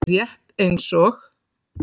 Rétt eins og